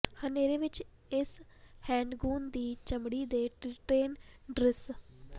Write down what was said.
ਹਨੇਰੇ ਵਿਚ ਇਸ ਹੈਂਡਗੂਨ ਦੀ ਚਮੜੀ ਦੇ ਟ੍ਰੀਟਿਏਨ ਦ੍ਰਿਸ਼